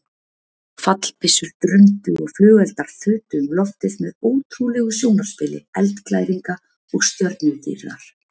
Fallbyssur drundu og flugeldar þutu um loftið með ótrúlegu sjónarspili eldglæringa og stjörnudýrðar.